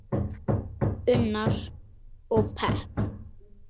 Unnar: Og pepp.